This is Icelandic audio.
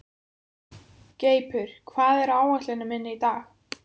Greipur, hvað er á áætluninni minni í dag?